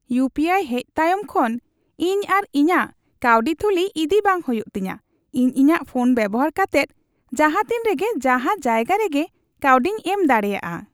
ᱤᱭᱩᱯᱤᱟᱭ ᱦᱮᱡ ᱛᱟᱭᱚᱢ ᱠᱷᱚᱱ ᱤᱧ ᱟᱨ ᱤᱧᱟᱹᱜ ᱠᱟᱹᱣᱰᱤ ᱛᱷᱩᱞᱤ ᱤᱫᱤ ᱵᱟᱝ ᱦᱩᱭᱩᱜ ᱛᱤᱧᱟ ᱾ ᱤᱧ ᱤᱧᱟᱜ ᱯᱷᱳᱱ ᱵᱮᱵᱚᱦᱟᱨ ᱠᱟᱛᱮᱫ ᱡᱟᱦᱟᱛᱤᱱ ᱨᱮᱜᱮ ᱡᱟᱦᱟ ᱡᱟᱭᱜᱟ ᱨᱮᱜᱮ ᱠᱟᱹᱣᱰᱤᱧ ᱮᱢ ᱫᱟᱲᱮᱭᱟᱜᱼᱟ ᱾